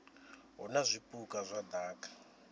hu na zwipuka zwa daka